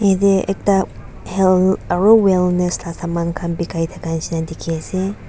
yate ekta health aru wealthness lah saman khan bikhai thaka nisna dikhi ase.